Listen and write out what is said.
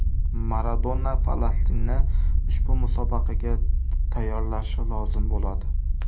Maradona Falastinni ushbu musobaqaga tayyorlashi lozim bo‘ladi.